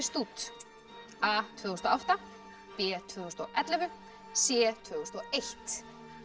út a tvö þúsund og átta b tvö þúsund og ellefu c tvö þúsund og eitt